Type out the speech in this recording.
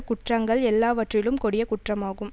குற்றங்கள் எல்லாவற்றிலும் கொடிய குற்றமாகும்